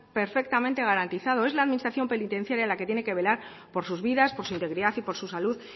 perfectamente garantizado es la administración penitenciaria la que tiene que velar por sus vidas por su integridad y por su salud